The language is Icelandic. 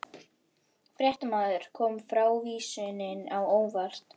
Fréttamaður: Kom frávísunin á óvart?